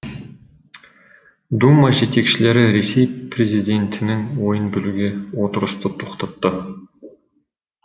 дума жетекшілері ресей президентінің ойын білуге отырысты тоқтатты